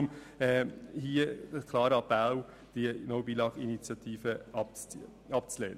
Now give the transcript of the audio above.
Daher lautet mein Appell an Sie, die «No Billag»-Initiative abzulehnen.